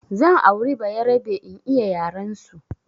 Zan auri bayarabe in iya yarensu